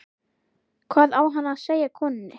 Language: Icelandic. Hvað á hann að segja konunni?